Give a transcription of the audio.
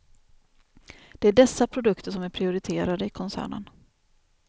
Det är dessa produkter som är prioriterade i koncernen.